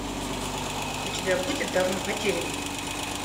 у тебя будет давно потерянный